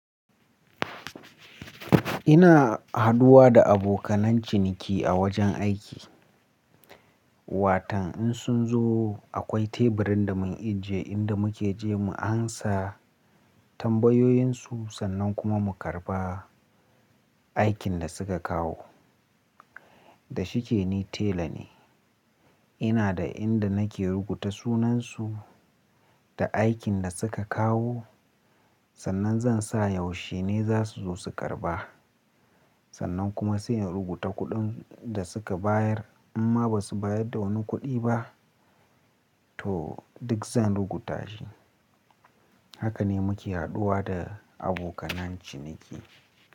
Ina haduwa da abokanen ciniki a wajen aiki. Watan in sun zo akwai teburin da mun ijiye inda muke je mu ansa tambayoyin su sannan kuma mu karba aikin da suka kawo. Da shike ni tela ne. Ina da inda nake rubuta sunansu da aikin da suka kawo. Sannan zan sa yaushe ne za su zo su karba. Sannan kuma sai in rubuta kuɗin da suka bayar. Amma ba su bayar da wani kuɗi ba to duk zan rubuta shi. Haka ne muke haduwa da abokan ciniki.